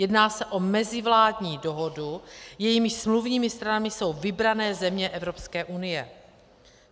Jedná se o mezivládní dohodu, jejímiž smluvními stranami jsou vybrané země Evropské unie.